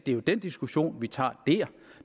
er jo den diskussion vi tager der